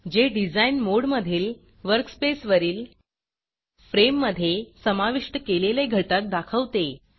जे डिझाईन मोडमधील वर्कस्पेसवरील फ्रेममधे समाविष्ट केलेले घटक दाखवते